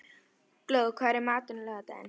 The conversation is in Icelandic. Glóð, hvað er í matinn á laugardaginn?